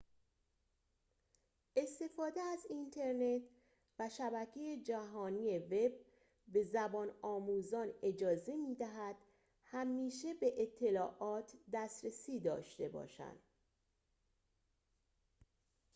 استفاده از اینترنت و شبکه جهانی وب به زبان‌آموزان اجازه می‌دهد همیشه به اطلاعات دسترسی داشته باشند